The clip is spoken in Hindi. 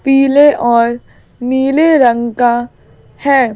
पीले और नीले रंग का है।